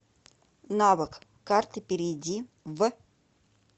навык карты перейди в